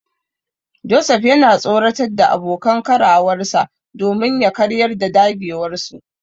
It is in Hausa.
Joseph yana tsoratar da abokan karawarsa domin ya karyar da dagewarsu.